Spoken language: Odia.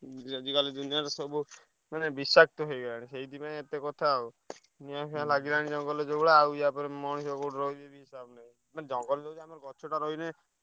ଯଦି ଗଲେ ଦୁନିଆର ସବୁ ମାନେ ବିଷାକ୍ତ ହେଇଗଲାଣି ସେଇଥିପାଇଁ ଏତେ କଥା ଆଉ ନିଆଁ ଫିଆଁ ଲାଗିଲାଣି ଜଙ୍ଗଲରେ ଯୋଉ ଭଳିଆ ଆଉ ଇୟା ପରେ ମଣିଷ ମାନେ ଜଙ୍ଗଲତ ଗଛଟା ରହିଲେ ।